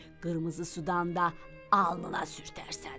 Qırmızı sudan da alnına sürtərsən.